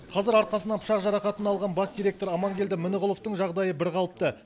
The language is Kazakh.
қазір арқасынан пышақ жарақатын алған бас директор амангелді мініғұловтың жағдайы бірқалыпты